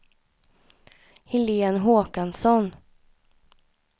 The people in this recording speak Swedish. Helen Håkansson